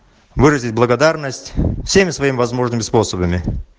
выразить благодарность всеми своими возможными способами